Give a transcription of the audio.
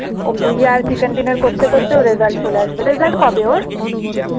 ও বুইয়া আর chicken dinner করতে করতে ওর result চলে আসবে result কবে ওর?